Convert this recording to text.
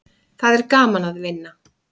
Það er gaman að vinna.